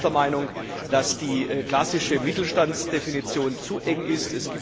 Wir sind auch der Meinung, dass die klassische Mittelstandsdefinition zu eng ist.